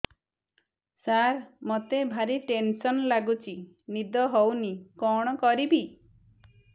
ସାର ମତେ ଭାରି ଟେନ୍ସନ୍ ଲାଗୁଚି ନିଦ ହଉନି କଣ କରିବି